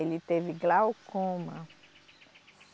Ele teve glaucoma.